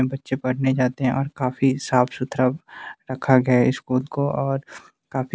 बच्चे पढ़ने जाते है और काफी साफ सुथरा रखा गया स्कूल को और काफी--